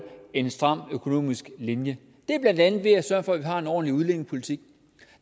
en stram økonomisk linje det er blandt andet ved at sørge for at vi har en ordentlig udlændingepolitik